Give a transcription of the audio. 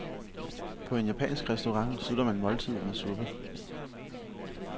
På en japansk restaurant slutter man måltidet med suppe.